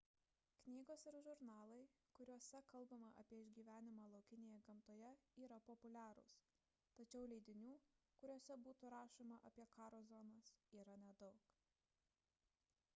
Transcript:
knygos ir žurnalai kuriuose kalbama apie išgyvenimą laukinėje gamtoje yra populiarūs tačiau leidinių kuriuose būtų rašoma apie karo zonas yra nedaug